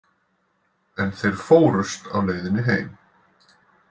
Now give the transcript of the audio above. En þeir fórust á leiðinni heim.